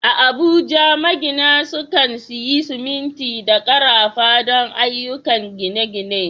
A Abuja, magina sukan sayi siminti da karafa don ayyukan gine-gine.